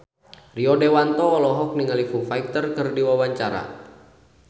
Rio Dewanto olohok ningali Foo Fighter keur diwawancara